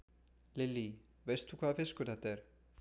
Lillý: Veist þú hvaða fiskur þetta er?